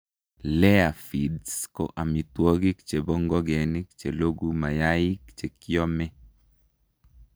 Layer feeds ko amitwogik chebo ngokenik che logu mayaik chekiome